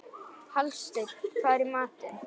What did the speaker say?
Hallsteinn, hvað er í matinn?